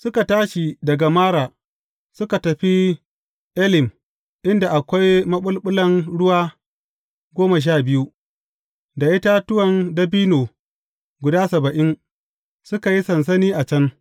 Suka tashi daga Mara, suka tafi Elim, inda akwai maɓulɓulan ruwa goma sha biyu, da itatuwan dabino guda saba’in, suka yi sansani a can.